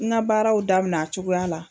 I na baaraw daminɛ a cogoya la.